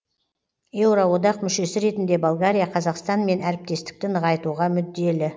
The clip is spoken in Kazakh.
еуроодақ мүшесі ретінде болгария қазақстанмен әріптестікті нығайтуға мүдделі